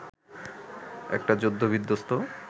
একটা যুদ্ধ বিধ্বস্ত